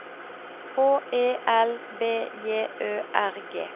H E L B J Ø R G